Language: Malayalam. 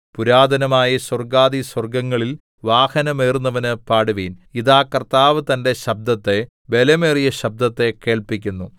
പുരാതനമായ സ്വർഗ്ഗാധിസ്വർഗ്ഗങ്ങളിൽ വാഹനമേറുന്നവന് പാടുവിൻ ഇതാ കർത്താവ് തന്റെ ശബ്ദത്തെ ബലമേറിയ ശബ്ദത്തെ കേൾപ്പിക്കുന്നു